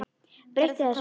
Breyti þessu.